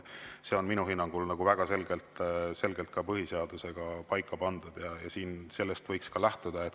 See on minu hinnangul väga selgelt põhiseadusega paika pandud ja sellest võiks lähtuda.